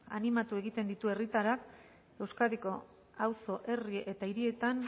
animatu egiten ditu herritarrak euskadiko auzo herri eta hirietan